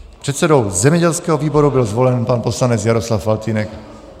Předsedou zemědělského výboru byl zvolen pan poslanec Jaroslav Faltýnek.